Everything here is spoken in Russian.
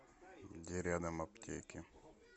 где рядом аптеки